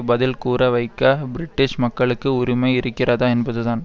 பதில் கூற வைக்க பிரிட்டிஷ் மக்களுக்கு உரிமை இருக்கிறதா என்பதுதான்